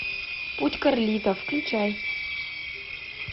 путь карлито включай